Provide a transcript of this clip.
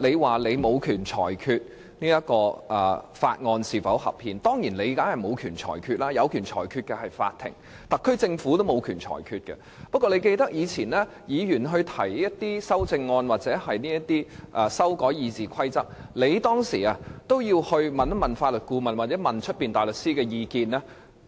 你說你沒有權裁決這項《廣深港高鐵條例草案》是否合憲，你當然沒有權作裁決，因為只有法院才有權，連特區政府也沒有權，但我相信你也會記得，以往議員提出修正案或要求修改《議事規則》，你也有徵詢法律顧問或外間大律師的意見，